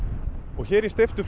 og hér í steyptu